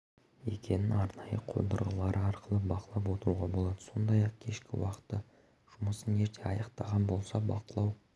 екенін арнайы қондырғылары арқылы бақылап отыруға болады сондай-ақ кешкі уақытта жұмысын ерте аяқтаған болса бақылау